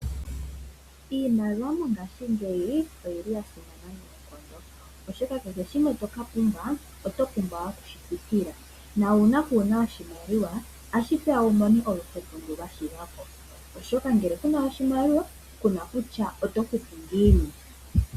Iimaliwa mongaashingeyi oya simana noonkondo oshoka kehe shimwe toka pumbwa oto pumbwa okushi futila. Uuna waana oshimaliwa otashi peya wuse oluhepo ndu lwashiga ko oshoka ngele kuna oshimaliwa kuna kutya oto futu ngiini.